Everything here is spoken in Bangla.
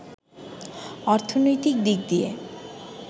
অর্থনৈতিক দিক দিয়ে